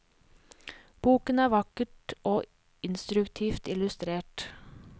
Boken er vakkert og instruktivt illustrert.